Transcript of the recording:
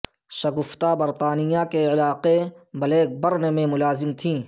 شگفتہ برطانیہ کے علاقے بلیک برن میں ملازم تھیں